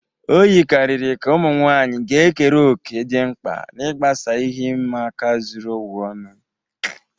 O yikarịrị ka ụmụ nwanyị ga-ekere òkè dị mkpa n'ịgbasa ihe ịma aka zuru ụwa ọnụ.